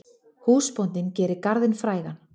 Húsbóndinn gerir garðinn frægan.